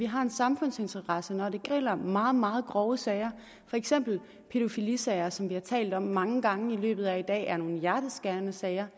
har en samfundsinteresse når det gælder meget meget grove sager for eksempel er pædofilisager som vi har talt om mange gange i løbet af i dag nogle hjerteskærende sager